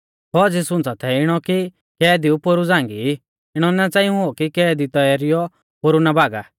फौज़ी सुंच़ा थै इणौ कि कैदीऊ पोरु झ़ांगी ई इणौ ना च़ांई हुऔ कि कैदी तैरीयौ पोरु ना भागा